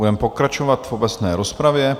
Budeme pokračovat v obecné rozpravě.